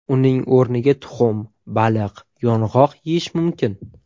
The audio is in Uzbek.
Uning o‘rniga tuxum, baliq, yong‘oq yeyish mumkin.